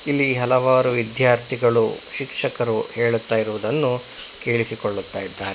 ಇಲ್ಲಿ ಹಲವಾರು ವಿದ್ಯಾರ್ಥಿಗಳು ಶಿಕ್ಷಕರು ಹೇಳುತ್ತಾ ಇರುವುದನ್ನು ಕೇಳಿಸಿಕೋಳ್ಳುತ್ತಾ ಇದ್ದಾರೆ.